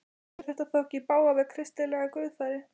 Fer þetta ekki í bága við kristilega guðfræði?